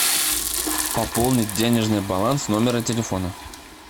пополнить денежный баланс номера телефона